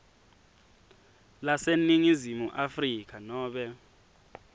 laseningizimu afrika nobe